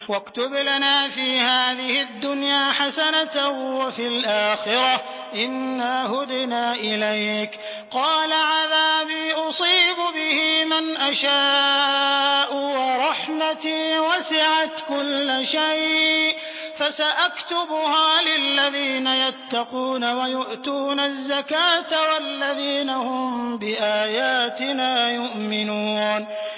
۞ وَاكْتُبْ لَنَا فِي هَٰذِهِ الدُّنْيَا حَسَنَةً وَفِي الْآخِرَةِ إِنَّا هُدْنَا إِلَيْكَ ۚ قَالَ عَذَابِي أُصِيبُ بِهِ مَنْ أَشَاءُ ۖ وَرَحْمَتِي وَسِعَتْ كُلَّ شَيْءٍ ۚ فَسَأَكْتُبُهَا لِلَّذِينَ يَتَّقُونَ وَيُؤْتُونَ الزَّكَاةَ وَالَّذِينَ هُم بِآيَاتِنَا يُؤْمِنُونَ